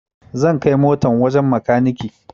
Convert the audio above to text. Zan kai motan wajen makaniki